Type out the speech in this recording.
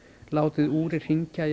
látið úrið hringja í